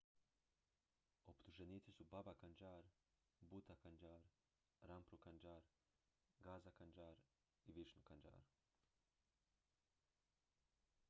optuženici su baba kanjar bhutha kanjar rampro kanjar gaza kanjar i vishnu kanjar